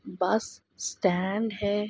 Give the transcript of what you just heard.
बस स्टॅंड है।